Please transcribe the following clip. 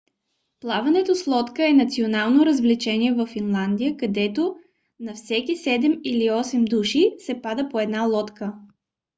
плаването с лодка е национално развлечение във финландия където на всеки седем или осем души се пада по една лодка